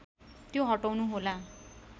त्यो हटाउनु होला